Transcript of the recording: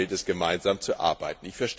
Daran gilt es, gemeinsam zu arbeiten.